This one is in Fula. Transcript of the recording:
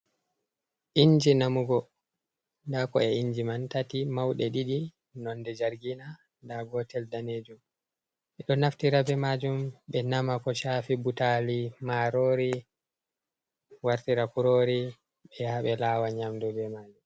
Inji namugo, nda ko'e inji man tati mauɗe ɗiɗi nonde jargina, nda gotel danejum ɓe ɗo naftira be majum ɓe nama ko chafi butali, marori, wartira kurori ɓe yaha ɓe lawa nyamdu be majum.